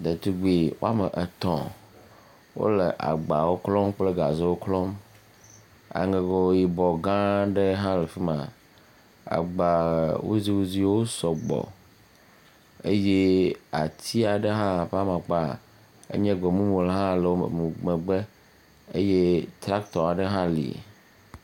Ɖetugbui woame etɛ̃ wole agbawo klɔm kple gazewo klɔm aŋego gã aɖe hã le afi ma, agbawuziwuziwo sɔ gbɔ, eye ati aɖe hã ƒe amakpe enye gbemumu hã le woƒe megbe eye tractor hã li.